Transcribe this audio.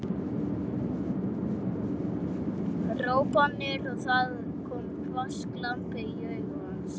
hrópanir og það kom hvass glampi í augu hans.